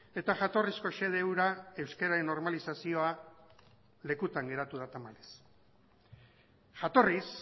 eta jatorrizko xede hura euskararen normalizazioa lekutan geratu da tamalez jatorriz